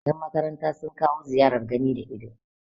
yanmakaranta sun kawo ziyarar gani da ido